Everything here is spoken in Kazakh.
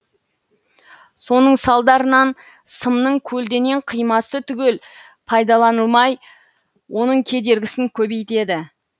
соның салдарынан сымның көлденең қимасы түгел пайдаланылмай оның кедергісін кобейтеді